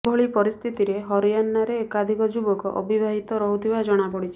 ଏଭଳି ପରିସ୍ଥିତିରେ ହରିୟାଣାରେ ଏକାଧିକ ଯୁବକ ଅବିବାହିତ ରହୁଥିବା ଜଣାପଡ଼ିଛି